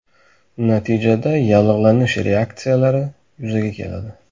Natijada yallig‘lanish reaksiyalari yuzaga keladi.